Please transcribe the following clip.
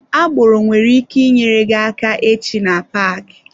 Agboro nwere ike nyere gị aka echi na paaki.